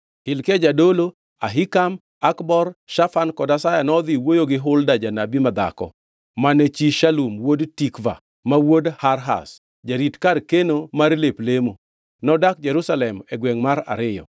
Hilkia jadolo, Ahikam, Akbor, Shafan kod Asaya nodhi wuoyo gi Hulda janabi madhako, mane chi Shalum wuod Tikva, ma wuod Harhas, jarit kar keno mar lep lemo. Nodak Jerusalem, e gwengʼ mar ariyo.